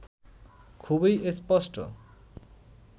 খুবই স্পষ্ট